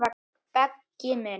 Beggi minn.